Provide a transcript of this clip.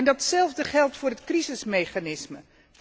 Hetzelfde geldt voor het crisismechanisme.